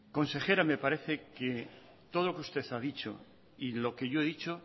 consejera me parece que todo lo que usted ha dicho y lo que yo he dicho